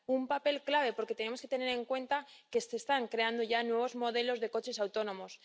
un papel clave, porque tenemos que tener en cuenta que se están creando ya nuevos modelos de coches autónomos.